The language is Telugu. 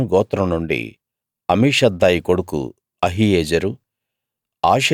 దాను గోత్రం నుండి అమీషద్దాయి కొడుకు అహీయెజెరు